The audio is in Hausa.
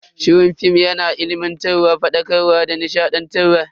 Shirin film yana ilimantarwa, fadakarwa da nishadantarwa.